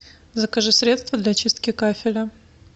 закажи средство для чистки кафеля